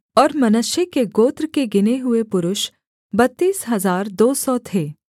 और मनश्शे के गोत्र के गिने हुए पुरुष बत्तीस हजार दो सौ थे